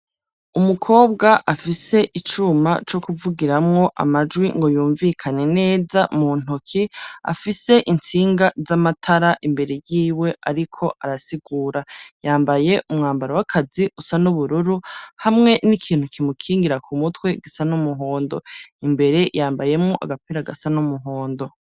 Umukobwa afise icuma co kuvugiramwo amajwi, ngo yumvikane neza mu ntoki, afise intsinga z'amatara imbere yiwe, ariko arasigura; yambaye umwambaro w'akazi, usa n'ubururu, hamwe n'ikintu kimukingira ku mutwe, gisa n'umuhondo; imbere yambayemwo agapira gasa n'umuhondo.